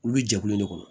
Olu bɛ jɛkulu de kɔnɔ